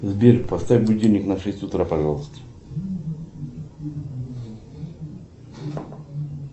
сбер поставь будильник на шесть утра пожалуйста